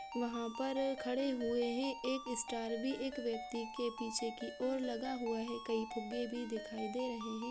वहाॅ पर खड़े हुए है एक स्टार भी एक व्यक्ति के पीछे की ओर लगा हुआ है कई फुग्गे भी दिखाई दे रहे हैं।